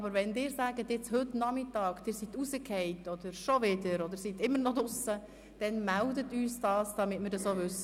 Aber wenn Sie heute Nachmittag aus dem WLAN herausfallen oder sich immer noch nicht haben verbinden können, melden Sie uns das bitte, damit wir das auch wissen.